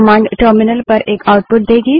command terminal पर एक output देगी